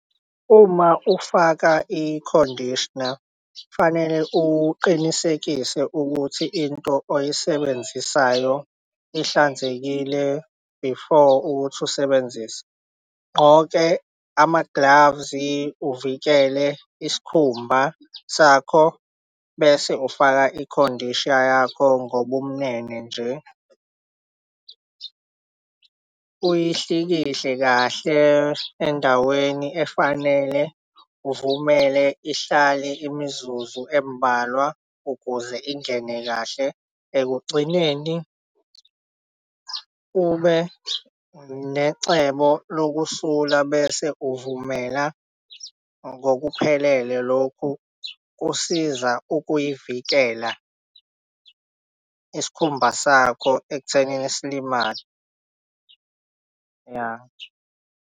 Uma ufaka i-conditioner kufanele uqinisekise ukuthi into oyisebenzisayo ihlanzekile before ukuthi usebenzise. Gqoke ama-gloves uvikele isikhumba sakho bese ufaka i-conditioner yakho ngobumnene nje uyihlikihle kahle endaweni efanele. Uvumele ihlale imizuzu embalwa ukuze ingene kahle. Ekugcineni ube necebo leyokusula bese uvumela ngokuphelele lokhu kusiza ukuyivikela isikhumba sakho ekuthenini silimale ya.